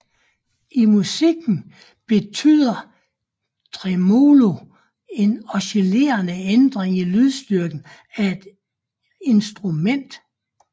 I musikken betyder tremolo en oscillerende ændring i lydstyrken af et instrument